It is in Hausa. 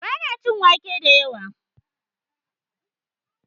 Ba na cin wake da yawa